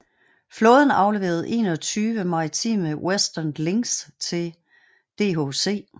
Flåden afleverede 21 maritime Westland Lynx til DHC